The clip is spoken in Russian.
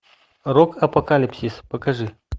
рок апокалипсис покажи